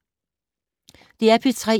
DR P3